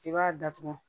I b'a datugu